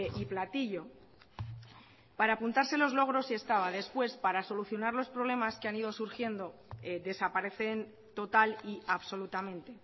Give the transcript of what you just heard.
y platillo para apuntarse los logros sí estaba después para solucionar los problemas que han ido surgiendo desaparecen total y absolutamente